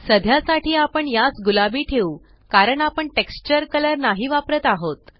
सध्या साठी आपण यास गुलाबी ठेवू कारण आपण टेक्स्चर कलर नाही वापरत आहोत